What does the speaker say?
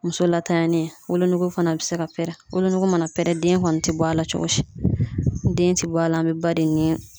Muso latanyali wolonugu fana bi se ka pɛrɛn wolonugu mana pɛrɛn den kɔni te bɔ a la cogo si den ti bɔ a la an be ba de nin